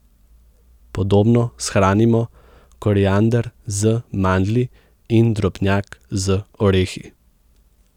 Podobno shranimo koriander z mandlji in drobnjak z orehi.